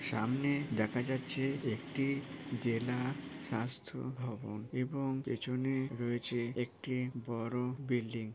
সামনে দেখা যাচ্ছে একটি জেলা স্বাস্থ্য ভবন এবং পেছনে রয়েছে একটি বড় বিল্ডিং ।